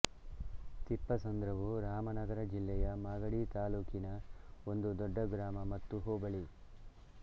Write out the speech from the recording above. ತಿಪ್ಪಸಂದ್ರವು ರಾಮನಗರ ಜಿಲ್ಲೆಯ ಮಾಗಡಿ ತಾಲ್ಲೂಕಿನ ಒಂದು ದೊಡ್ಡ ಗ್ರಾಮ ಮತ್ತು ಹೋಬಳಿ